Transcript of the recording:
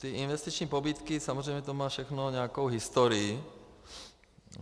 Ty investiční pobídky, samozřejmě to má všechno nějakou historii.